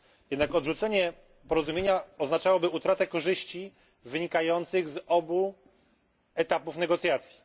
Jednak odrzucenie porozumienia oznaczałoby utratę korzyści, wynikających z obu etapów negocjacji.